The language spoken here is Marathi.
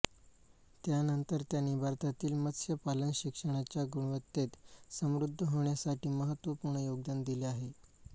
त्यानंतर त्यांनी भारतातील मत्स्यपालन शिक्षणाच्या गुणवत्तेत समृद्ध होण्यासाठी महत्त्वपूर्ण योगदान दिले आहे